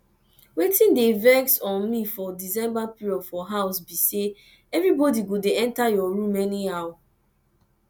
wetin dey vex um me for december period for house be say everybody go dey enter your room anyhow